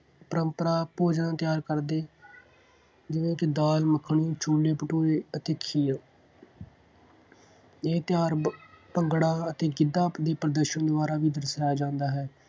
ਪਰੰਪਰਾ ਭੋਜਨ ਤਿਆਰ ਕਰਦੇ। ਜਿਹਦੇ 'ਚ ਦਾਲ ਮੱਖਣੀ, ਛੋਲੇ ਭਟੂਰੇ ਅਤੇ ਖੀਰ। ਇਹ ਤਿਉਹਾਰ ਭੰਗੜਾ ਅਤੇ ਗਿੱਧਾ play ਪ੍ਰਦਰਸ਼ਨ ਦੁਆਰਾ ਵੀ ਦਰਸਾਇਆ ਜਾਂਦਾ ਹੈ।